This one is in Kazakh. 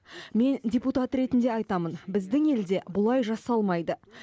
мен депутат ретінде айтамын біздің елде бұлай жасалмайды